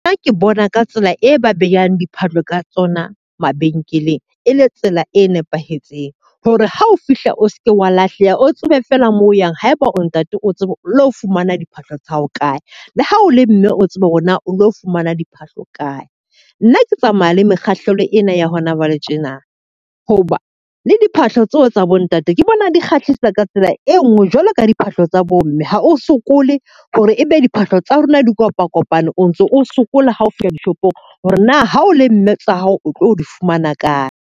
Nna ke bona ka tsela e ba behang diphahlo ka tsona mabenkeleng e le tsela e nepahetseng. Hore ha o fihla o seke wa lahleha o tsebe feela moo o yang. Haeba o ntate o tsebe le ho fumana diphahlo tsa hao kae, le ha o le mme o tsebe hore na o tlo fumana diphahlo kae. Nna ke tsamaya le mekgahlelo ena ya hona jwale tjena hoba le diphahlo tseo tsa bo ntate ke bona di kgahlisa tsa ka tsela e nngwe jwalo ka diphahlo tsa bo mme. Ha o sokole hore ebe diphahlo tsa rona di kopa kopane, o ntso o sokola ha o fihla dishopong. Hore na ha o le mme tsa hao o tlo di fumana kae.